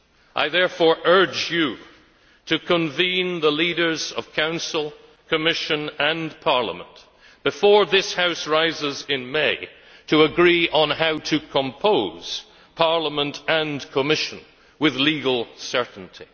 I therefore urge you to convene the leaders of Council, Commission and Parliament before this House rises in May to agree on how to compose Parliament and Commission with legal certainty.